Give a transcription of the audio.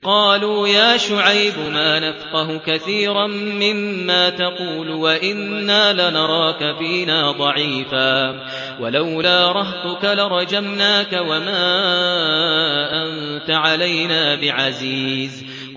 قَالُوا يَا شُعَيْبُ مَا نَفْقَهُ كَثِيرًا مِّمَّا تَقُولُ وَإِنَّا لَنَرَاكَ فِينَا ضَعِيفًا ۖ وَلَوْلَا رَهْطُكَ لَرَجَمْنَاكَ ۖ وَمَا أَنتَ عَلَيْنَا بِعَزِيزٍ